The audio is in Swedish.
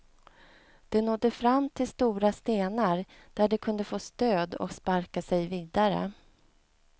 De nådde fram till stora stenar, där de kunde få stöd och sparka sig vidare.